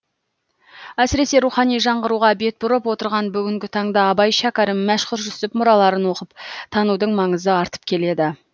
әсіресе рухани жаңғыруға бет бұрып отырған бүгінгі таңда абай шәкәрім мәшһүр жүсіп мұраларын оқып танудың маңызы артып келеді